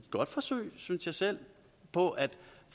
godt forsøg synes jeg selv på at